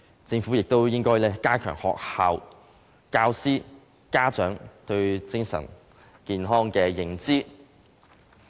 政府亦應加強學校、教師及家長對精神健康的認知。